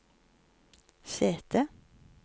sete